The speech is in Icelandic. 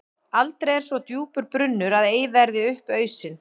Aldrei er svo djúpur brunnur að ei verði upp ausinn.